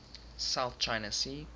south china sea